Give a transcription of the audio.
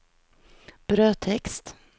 brödtext